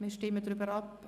wir stimmen darüber ab.